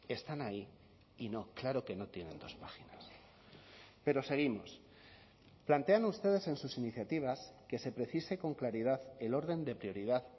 están ahí y no claro que no tienen dos páginas pero seguimos plantean ustedes en sus iniciativas que se precise con claridad el orden de prioridad